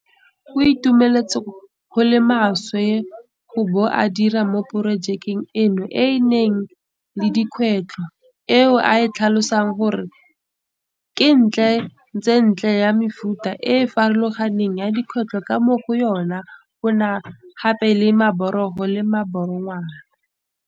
O itumetse go le maswe go bo a dira mo porojekeng eno e e nang le dikgwetlho eo a e tlhalosang gore ke ntle tsentletse ya mefuta e e farologaneng ya dikgwetlho ka mo go yona go na gape le maborogo le maborogwana.